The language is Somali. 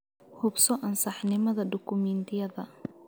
Hubso ansaxnimada dukumiintiyada.